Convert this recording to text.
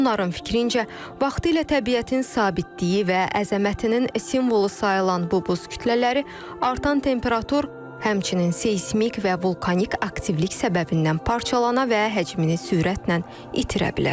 Onların fikrincə, vaxtilə təbiətin sabitliyi və əzəmətinin simvolu sayılan bu buz kütlələri artan temperatur, həmçinin seysmik və vulkanik aktivlik səbəbindən parçalana və həcmini sürətlə itirə bilər.